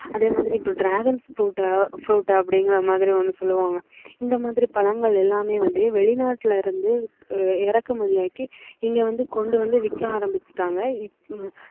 அதே மாதிரி இப்போ dragon fruit fruit அப்படிங்கிற மாதிரி ஒண்ணு சொல்லுவாங்க இந்த மாதிரி பழங்கள் எல்லாமே வந்து வெளிநாட்டுல இருந்து இறக்குமதி ஆக்கி இங்க வந்து கொண்டு வந்து விக்க ஆரம்பிச்சுட்டாங்க